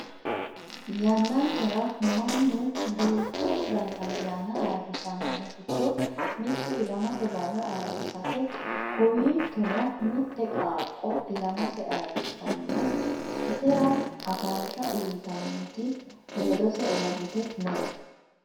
yannankera mannu duuchu dani ayyaana ayeerrisannohu giddo mittu ilamate barra ayeerrisate kowiichono mite qaaqqo ilamase ayeerrissanna isera afansha uyiitannoti ledose uurrite no